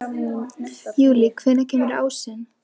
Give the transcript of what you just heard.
Júlí, hvenær kemur ásinn?